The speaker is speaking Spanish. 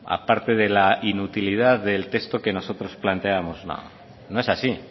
a parte de la inutilidad del texto que nosotros planteábamos no no es así